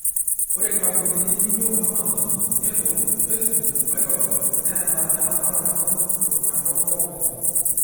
Ore nkampunini nijo Amazon, Apple, Facebook, Microsoft neeta eramatare sapuk te nkop pookin